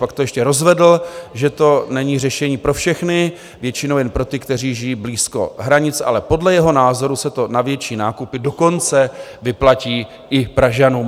Pak to ještě rozvedl, že to není řešení pro všechny, většinou jen pro ty, kteří žijí blízko hranic, ale podle jeho názoru se to na větší nákupy dokonce vyplatí i Pražanům...